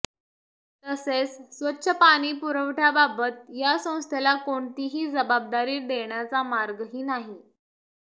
तसेच स्वच्छ पाणीपुरवठ्याबाबत या संस्थेला कोणतीही जबाबदारी देण्याचा मार्गही नाही